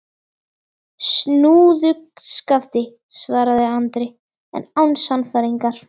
Snúðu skafti, svaraði Andri, en án sannfæringar.